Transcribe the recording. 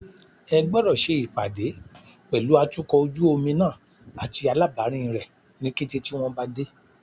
Ẹ gbọ́dọ̀ ṣe ìpàdé pẹ̀lú atukọ̀ ojú omi náà àti alábàárìn rẹ ní kété tí wọn bá dé.